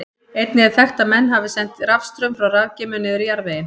Einnig er þekkt að menn hafi sent rafstraum frá rafgeymum niður í jarðveginn.